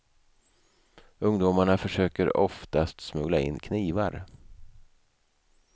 Ungdomarna försöker oftast smuggla in knivar.